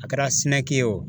A kɛra SYNEC ye o